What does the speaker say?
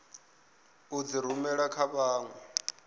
u dzi rumela kha vhanwe